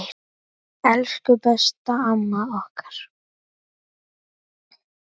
Elsku besta, amma okkar.